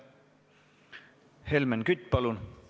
Helmen Kütt, palun!